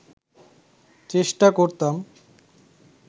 চেষ্টা করতাম